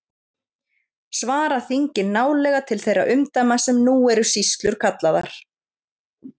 Svara þingin nálega til þeirra umdæma sem nú eru sýslur kallaðar.